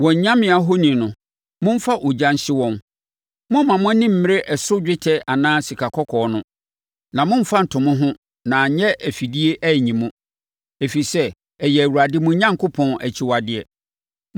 Wɔn anyame ahoni no, momfa ogya nhye wɔn. Mommma mo ani mmere ɛso dwetɛ anaa sikakɔkɔɔ no, na mommfa nto mo ho na anyɛ afidie anyi mo, ɛfiri sɛ, ɛyɛ Awurade, mo Onyankopɔn, akyiwadeɛ.